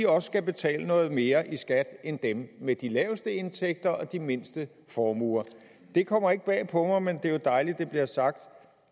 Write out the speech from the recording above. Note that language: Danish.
også skal betale noget mere i skat end dem med de laveste indtægter og de mindste formuer det kommer ikke bag på mig men det er jo dejligt det bliver sagt